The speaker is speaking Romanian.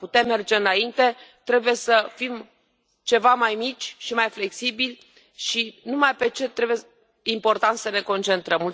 Ca să putem merge înainte, trebuie să fim ceva mai mici și mai flexibili și numai pe ce este important să ne concentrăm.